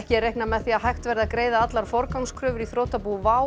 er reiknað með því að hægt verði að greiða allar forgangskröfur í þrotabú WOW